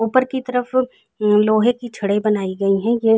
ऊपर की तरफ लोहे की छड़े बनाई है ये --